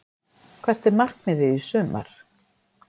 Hvert er markmiðið í sumar?